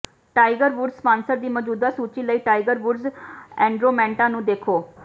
tiger Woods sponsor ਦੀ ਮੌਜੂਦਾ ਸੂਚੀ ਲਈ ਟਾਈਗਰ ਵੁਡਸ ਐੰਡੋਰਮੈਂਟਾਂ ਨੂੰ ਦੇਖੋ